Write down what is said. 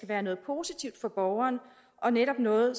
være noget positivt for borgeren og netop noget